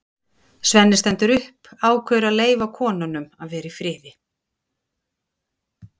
Svenni stendur upp, ákveður að leyfa konunum að vera í friði.